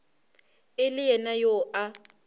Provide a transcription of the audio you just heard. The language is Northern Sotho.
e le yena yo a